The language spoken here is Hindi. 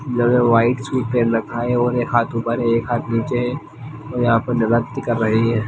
इन्होंने व्हाइट सूट पहन रखा है और एक हाथ ऊपर है एक हाथ नीचे हैं और यहां पर नृत्य कर रही है।